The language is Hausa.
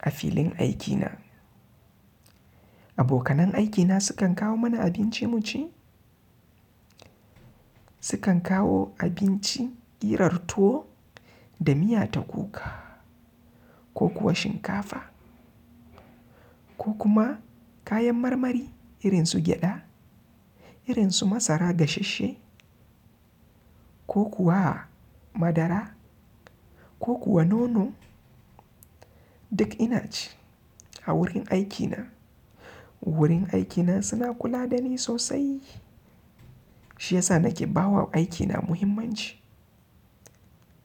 a filin aikina. Abokanan aikina sukan kawo mana abinci mu ci. Sukan kawo abinci irin tuwo da miya ta kuka ko kuwa shinkafa ko kuma kayan marmari irin su gyada, irin su masara gasasshe ko kuwa madara ko kuwa nono. Duk ina ci a wurin aikina. Wurin aikina suna kula da ni sosai shiyasa nake ba wa aikina muhimmanci.